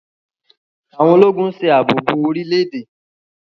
Àwọn Ológùn ṣe ààbò bó orílè-èdè.